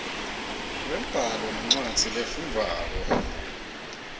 lwembhalo nencwadzi lefundvwako